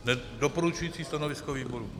Doporučující stanovisko výboru.